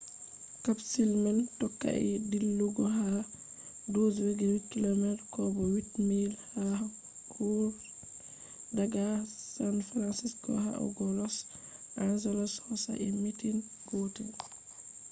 capsule man tokkai dillugo ha 12.8km kobo 8 miles ha hour daga san francisco yahugo los angelos hosai minti gootel